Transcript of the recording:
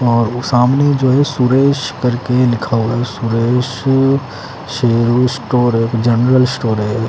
और वो सामने जो है सुरेश करके लिखा हुआ है सुरेश अ शेरू स्टोर है जनरल स्टोर है।